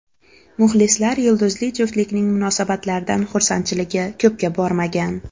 Muxlislar yulduzli juftlikning munosabatlaridan xursandchiligi ko‘pga bormagan.